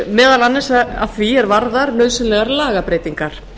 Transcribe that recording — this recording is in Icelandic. meðal annars að því er varðar nauðsynlegar lagabreytingar